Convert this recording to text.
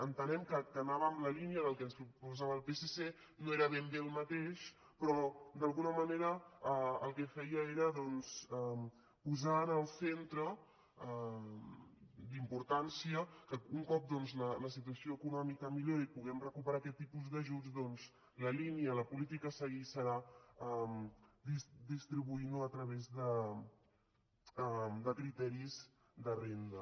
entenem que anava en la línia del que ens proposava el psc no era ben bé el mateix però d’alguna manera el que feia era doncs posar en el centre d’importància que un cop la situació econòmica millori i puguem recuperar aquest tipus d’ajuts la línia la política a seguir serà distribuint ho a través de criteris de renda